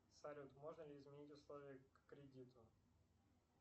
салют можно ли изменить условия к кредиту